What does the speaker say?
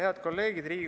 Head kolleegid!